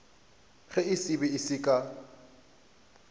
ge se be se ka